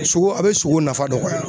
Sogo a be sogo nafa dɔgɔya